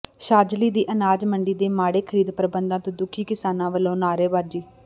ਛਾਜਲੀ ਦੀ ਅਨਾਜ ਮੰਡੀ ਦੇ ਮਾੜੇ ਖ਼ਰੀਦ ਪ੍ਰਬੰਧਾਂ ਤੋਂ ਦੁਖੀ ਕਿਸਾਨਾਂ ਵਲੋਂ ਨਾਅਰੇਬਾਜ਼ੀ